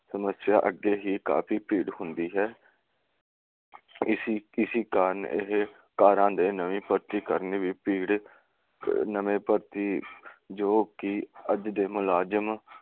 ਸਮੱਸਿਆ ਅੱਗੇ ਹੀ ਕਾਫੀ ਭੀੜ ਹੁੰਦੀ ਹੈ। ਇਸੀ ਕਿਸੀ ਕਾਰਨ ਇਹ ਕਾਰਾਂ ਦੇ ਨਵੇ ਭਰਤੀ ਕਰਨੀ ਵੀ ਭੀੜ ਨਵੇਂ ਭਰਤੀ ਜੋ ਕਿ ਅੱਜ ਦੇ ਮੁਲਾਜਮ